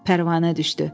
Pərvanə düşdü.